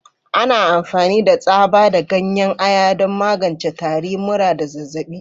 Ana amfani da tsaba da ganyen Ayan don magance tari, mura, da zazzabi.